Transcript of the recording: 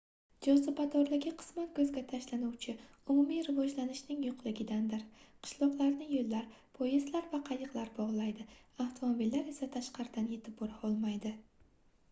jozibadorligi qisman koʻzga tashlanuvchi umumiy rivojlanishningning yoʻqligidandir qishloqlarni yoʻllar poyezdlar va qayiqlar bogʻlaydi avtomobillar esa tashqaridan yetib bora olmaydi